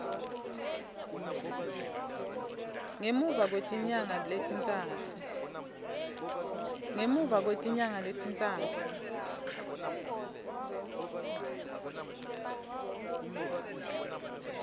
ngemuva kwetinyanga letintsatfu